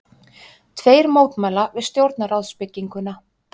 Tveir mótmæla við stjórnarráðsbygginguna